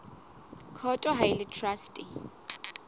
court ha e le traste